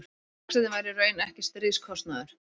vextirnir væru í raun ekki stríðskostnaður